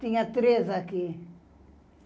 Tinha três aqui.